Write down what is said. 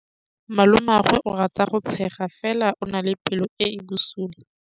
Malomagwe o rata go tshega fela o na le pelo e e bosula.